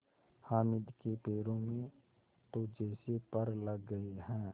हामिद के पैरों में तो जैसे पर लग गए हैं